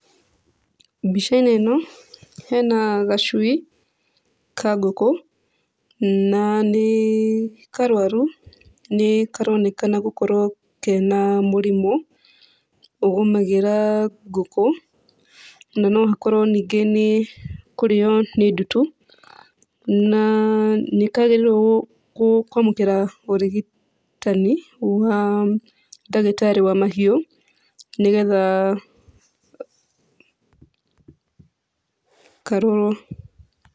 Mbica-inĩ ĩno hena gacui ka ngũkũ na nĩ karwaru, nĩkaronekana gũkorwo kena mũrimũ ũgomagĩra ngũkũ, na no hakorwo ningĩ nĩ kũrĩo nĩ ndutu. Na nĩkagĩrĩirwo kwamũkĩra ũrigitani wa ndagĩtarĩ wa mahiũ nĩgetha karorwo .